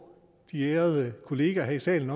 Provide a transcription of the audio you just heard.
de ærede kollegaer her i salen